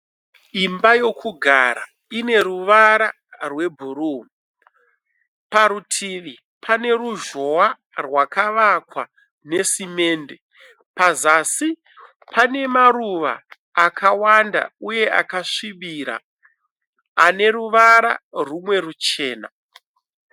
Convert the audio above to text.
Imba yokugara. Ine ruvara rwebhuruu. Parutivi pane ruzhowa rwakavakwa nesemende. Pazasi pane maruva akawanda uye akasvibira aneruvara rumwe ruchena.